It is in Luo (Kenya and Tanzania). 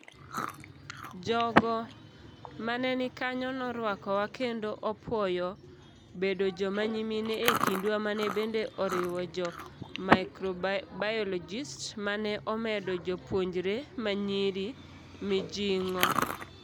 Jogo maneni kanyo noruakowa kendo opuoyo bedo joma nyimine ekindwa mane bende oriwo jo Microbiologistsmane omedo jopuonjre manyiri mijing'o.